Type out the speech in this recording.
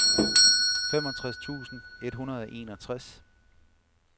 femogtres tusind et hundrede og enogtres